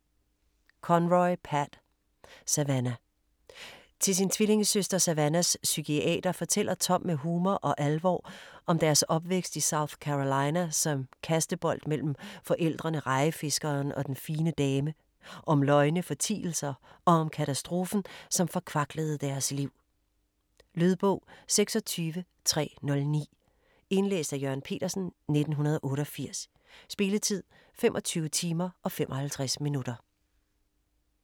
Conroy, Pat: Savannah Til sin tvillingesøster Savannahs psykiater fortæller Tom med humor og alvor om deres opvækst i South Carolina som kastebold mellem forældrene, rejefiskeren og den fine dame, om løgne, fortielser og om katastrofen, som forkvaklede deres liv. Lydbog 26309 Indlæst af Jørgen Petersen, 1988. Spilletid: 25 timer, 55 minutter.